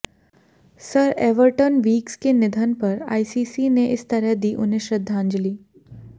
sir Everton Weekes के निधन पर आईसीसी ने इस तरह दी उन्हें श्रद्धांजली